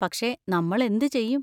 പക്ഷെ നമ്മൾ എന്ത് ചെയ്യും?